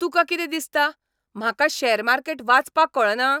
तुका कितें दिसता? म्हाका शॅर मार्केट वाचपाक कळना?